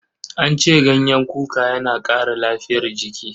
An ce ganyen kuka yana ƙara lafiyar jiki.